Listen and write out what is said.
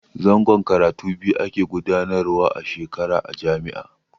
Zangon karatu biyu ake gudanarwa a shekara a jami'a.